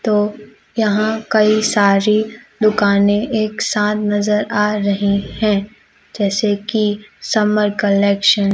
तो यहां कई सारी दुकानें एक साथ नजर आ रही हैं जैसे कि समर कलेक्शन ।